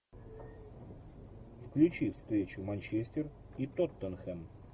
включи встречу манчестер и тоттенхэм